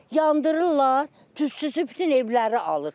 Yandırırlar, tüstüsü bütün evləri alır.